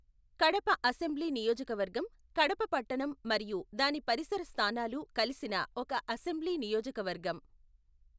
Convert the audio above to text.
Kadapa assembly నియోజకవర్గం కడప పట్టణం మరియు దాని పరిసర స్థానాలు కలిసిన ఒక అసెంబ్లీ నియోజక వర్గం.